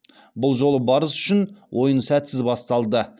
бұл жолы барыс үшін ойын сәтсіз басталды